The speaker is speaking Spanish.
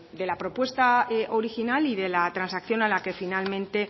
de la propuesta original y de la transacción a la que finalmente